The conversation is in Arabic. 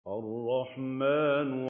الرَّحْمَٰنُ